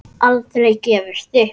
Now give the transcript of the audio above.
Aldrei gefist upp.